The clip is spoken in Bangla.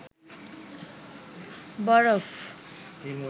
বরফ